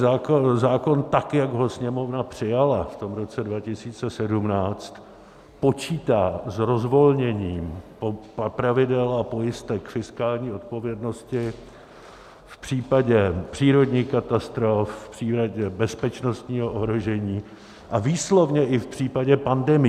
Zákon, tak jak ho Sněmovna přijala v tom roce 2017, počítá s rozvolněním pravidel a pojistek fiskální odpovědnosti v případě přírodních katastrof, v případě bezpečnostního ohrožení a výslovně i v případě pandemií.